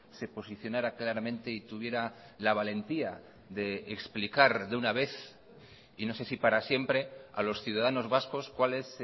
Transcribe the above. se posicionara claramente y tuviera la valentía de explicar de una vez y no sé si para siempre a los ciudadanos vascos cuál es